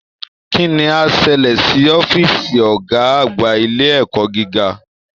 Kí ni á ṣẹlẹ̀ sí ọ́fíìsì Ọ̀gá àgbà ilé ẹ̀kọ́ gíga?